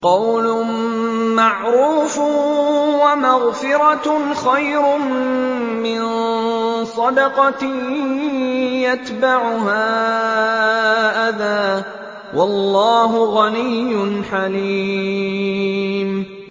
۞ قَوْلٌ مَّعْرُوفٌ وَمَغْفِرَةٌ خَيْرٌ مِّن صَدَقَةٍ يَتْبَعُهَا أَذًى ۗ وَاللَّهُ غَنِيٌّ حَلِيمٌ